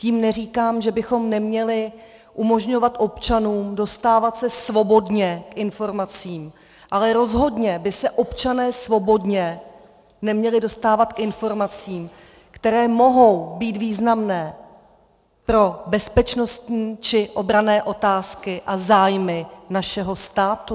Tím neříkám, že bychom neměli umožňovat občanům dostávat se svobodně k informacím, ale rozhodně by se občané svobodně neměli dostávat k informacím, které mohou být významné pro bezpečnostní či obranné otázky a zájmy našeho státu.